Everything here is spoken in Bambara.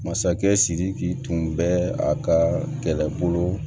Masakɛ sidiki tun bɛ a ka kɛlɛbolo